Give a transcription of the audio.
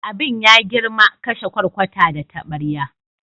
Abin ya girma, kashe kwarkwata da tabarya.